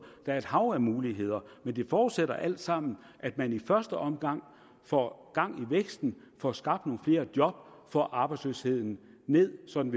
der er et hav af muligheder men det forudsætter alt sammen at man i første omgang får gang i væksten får skabt nogle flere job får arbejdsløsheden ned sådan